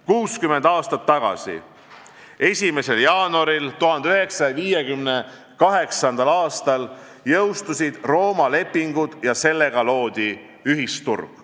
60 aastat tagasi, 1. jaanuaril 1958. aastal jõustusid Rooma lepingud ja sellega loodi ühisturg.